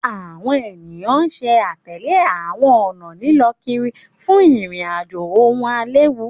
Àwọn eniyan ṣe atẹle àwọn ọna lilọ kiri fun irin-ajo okun ailewu